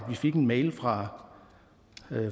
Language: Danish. vi fik en mail fra